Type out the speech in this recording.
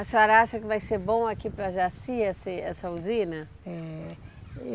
A senhora acha que vai ser bom aqui para Jaci esse essa usina?